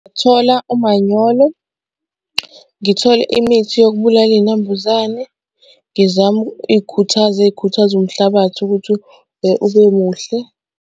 Thola umanyolo, ngithole imithi yokubulala iy'nambuzane, ngizame iy'khuthazi ey'khuthaza umhlabathi ukuthi ube muhle.